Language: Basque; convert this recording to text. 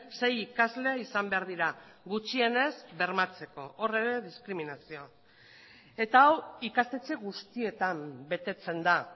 sei ikasle izan behar dira gutxienez bermatzeko hor ere diskriminazioa eta hau ikastetxe guztietan betetzen da